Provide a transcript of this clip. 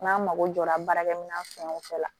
N'an mago jɔra baarakɛminɛn fɛn o fɛn la